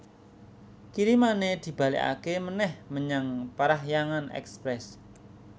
Kirimane dibalekake meneh menyang Parahyangan Express